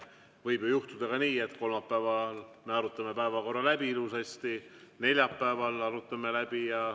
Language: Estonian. Võib ju juhtuda ka nii, et kolmapäeval me arutame päevakorra ilusasti läbi ja neljapäeval arutame läbi.